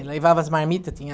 Levava as marmitas, tinha...